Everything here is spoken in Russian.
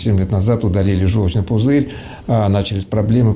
семь лет назад удалили жёлчный пузырь начались проблемы